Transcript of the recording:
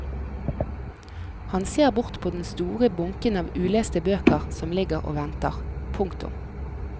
Han ser bort på den store bunken av uleste bøker som ligger og venter. punktum